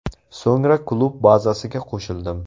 So‘ngra klub bazasiga qo‘shildim.